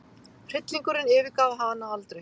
Hryllingurinn yfirgaf hana aldrei.